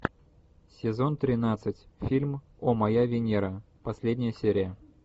сезон тринадцать фильм о моя венера последняя серия